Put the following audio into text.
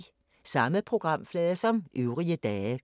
Samme programflade som øvrige dage